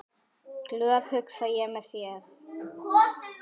Glöð, hugsa ég með mér.